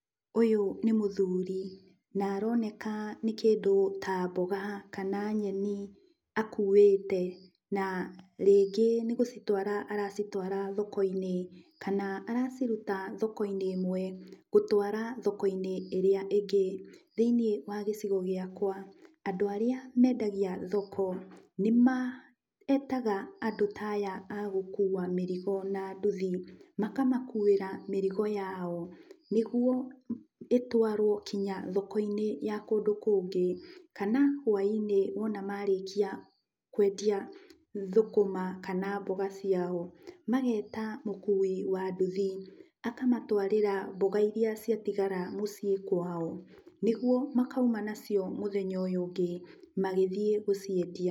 Ũyũ nĩ mũthuri, na aroneka nĩ kĩndũ ta mboga kana nyeni akuĩte, na rĩngĩ nĩgũcitwara aracitwara thoko-inĩ, kana araciruta thoko-inĩ ĩmwe gũtwara thoko-inĩ ĩrĩa ĩngĩ. Thĩiniĩ wa gĩcigo gĩakwa, andũ arĩa mendagia thoko nĩmetaga andũ ta aya a gũkua mĩrigo na nduthi, makamakuĩra mĩrigo yao, nĩguo ĩtwarwo kinya thoko-inĩ ya kũndũ kũngĩ, kana whaĩ-inĩ wona marĩkia kwendia thũkũma kana mboga ciao, mageta mũkui wa nduthi, akamatwarĩra mboga iria ciatigara mũciĩ kwao, nĩguo makauma nacio mũthenya ũyũ ũngĩ magĩthiĩ gũciendia.